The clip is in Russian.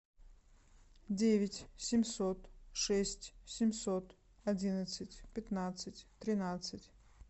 девять семьсот шесть семьсот одинадцать пятнадцать тринадцать